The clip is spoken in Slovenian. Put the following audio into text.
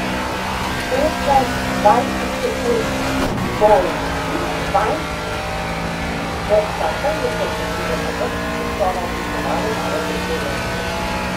Petnajst, dvajset sekund bolščim vanj v čakanju, da se bodo na vrhu zaslona oblikovale nove besede.